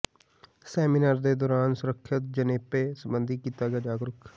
seminar ਦੇ ਦੌਰਾਨ ਸੁਰੱਖਿਅਤ ਜਨੇਪੇ ਸੰਬੰਧੀ ਕੀਤਾ ਗਿਆ ਜਾਗਰੁਕ